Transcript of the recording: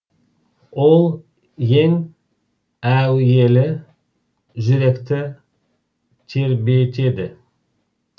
ол ең әуелі жүректі тербетеді